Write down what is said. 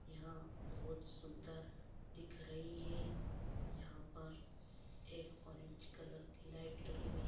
यहां बहुत सुन्दर दिख रही है यहां पर एक ऑरेंज कलर की लाइट लगी हुई--